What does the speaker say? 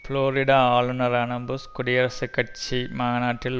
Florida ஆளுனரான Bush குடியரசுக் கட்சி மநாட்டில்